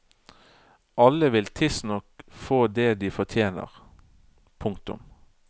Alle vil tidsnok få det de fortjener. punktum